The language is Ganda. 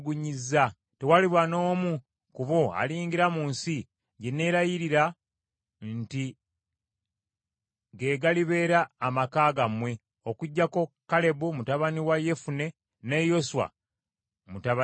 Tewaliba n’omu ku bo aliyingira mu nsi gye neelayirira nti ge galibeera amaka gammwe, okuggyako Kalebu mutabani wa Yefune ne Yoswa mutabani wa Nuuni.